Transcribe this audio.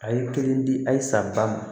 A ye kelen di a ye san ba ma